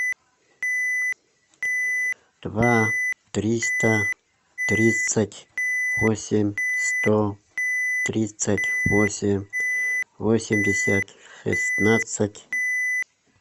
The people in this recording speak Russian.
два триста тридцать восемь сто тридцать восемь восемьдесят шестнадцать